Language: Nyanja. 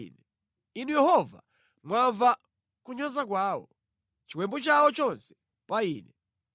Inu Yehova mwamva kunyoza kwawo, chiwembu chawo chonse pa ine,